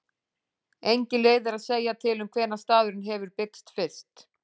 Engin leið er að segja til um hvenær staðurinn hefur byggst fyrst.